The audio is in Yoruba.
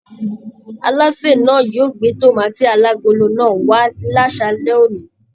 Alásè náà yóò gbé tomaati alagolo náà wà lasalẹ̀ òní.